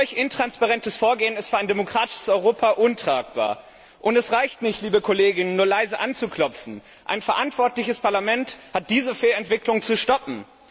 Ein solch intransparentes Vorgehen ist für ein demokratisches Europa untragbar! Es reicht nicht, nur leise anzuklopfen ein verantwortliches Parlament hat diese Fehlentwicklung zu stoppen!